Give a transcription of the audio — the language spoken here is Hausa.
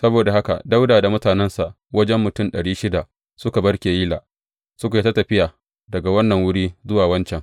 Saboda haka Dawuda da mutanensa wajen mutum ɗari shida suka bar Keyila, suka yi ta tafiya daga wannan wuri zuwa wancan.